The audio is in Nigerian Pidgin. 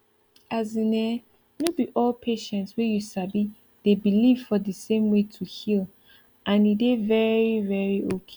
as in[um]no be all patient way you sabi dey believe for the same way to heal and e dey very very okay